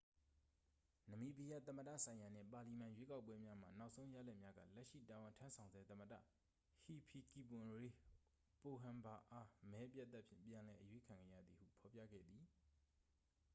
နမီးဘီးယား သမ္မတဆိုင်ရာနှင့် ပါလီမန် ရွေးကောက်ပွဲများမှ နောက်ဆုံးရလဒ်များက လက်ရှိ တာဝန်ထမ်းဆောင်ဆဲ သမ္မတ ဟီဖီကီပွန်ရေး ပိုဟမ်ဘာအား မဲအပြတ်အသတ်ဖြင့် ပြန်လည်အရွေးခံခဲ့ရသည်ဟု ဖော်ပြခဲ့သည်